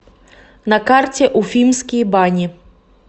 на карте уфимские бани